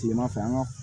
Tilema fɛ an ka